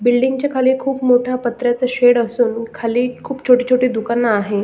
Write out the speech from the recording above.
बिल्डिंगच्या खाली एक खूप मोठ पत्र्याच शेड असून खाली खूप छोटी छोटी दुकान आहे.